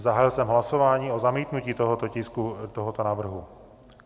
Zahájil jsem hlasování o zamítnutí tohoto tisku, tohoto návrhu.